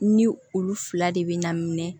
Ni olu fila de bɛ ɲan minɛ